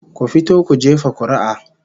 Ku fito ku jefa kuri'a